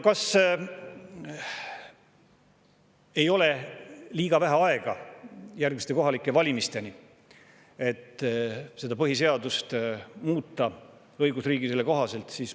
Kas ei ole liiga vähe aega järgmiste kohalike valimisteni, et põhiseadust õigusriigile kohaselt muuta?